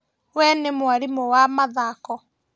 We nĩ mwarimũ wa mathako